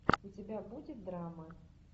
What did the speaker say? у тебя будет драма